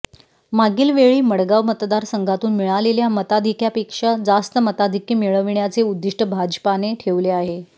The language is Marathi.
मागील वेळी मडगाव मतदारसंघातून मिळालेल्या मताधिक्यापेक्षा जास्त मताधिक्य मिळविण्याचे उद्दिष्ट भाजपाने ठेवले आहे